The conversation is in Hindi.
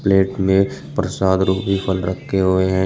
एक में प्रसाद रूपी फल रखे हुए हैं।